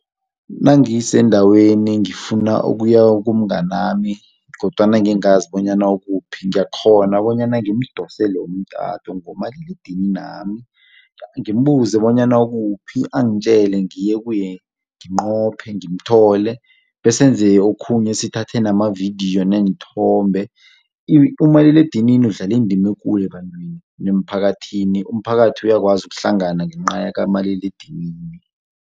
Nangisendaweni ngifuna ukuya kumnganami kodwana ngingazi bonyana ukuphi ngiyakghona bonyana ngimdosele umtato ngomaliledininami ngimbuze bonyana ukuphi angitjele ngiye kuye nginqophe, ngimthole besenze okhunye sithathe namavidiyo neenthombe. Umaliledinini udlala indima ekulu ebantwini nemphakathini umphakathi uyakwazi ukuhlangana ngenca yakamaliledinini.